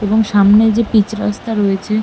এবং সামনে যে পিচ রাস্তা রয়েছে।